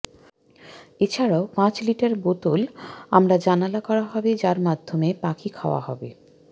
এছাড়াও পাঁচ লিটার বোতল আমরা জানালা করা হবে যার মাধ্যমে পাখি খাওয়া হবে